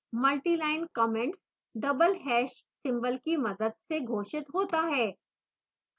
multiline comments double hash ## symbol की मदद से घोषित होते हैं